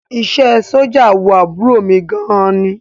Iṣẹ́ ẹ sójà wu àbúrò mi gan ni